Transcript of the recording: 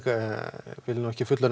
vil ekkert fullyrða